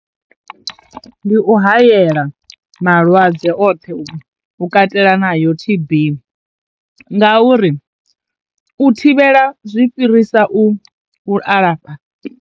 Ndi u hayela malwadze oṱhe u katela na yo T_B ngauri u thivhela zwi fhirisa u a lafha.